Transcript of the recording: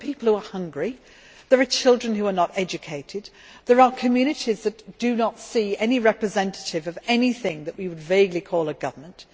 There are people who are hungry, there are children who are not educated, and there are communities that do not see any representative of anything that we would vaguely call a government.